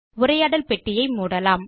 உரையாடல் பெட்டியை மூடலாம்